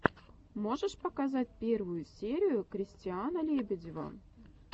можешь показать первую серию кристиана лебедева